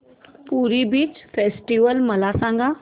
पुरी beach festival मला सांग